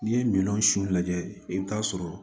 N'i ye minɛnw sun lajɛ i bi t'a sɔrɔ